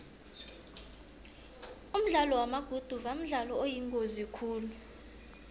umdlalo wamaguduva mdlalo oyingozi khulu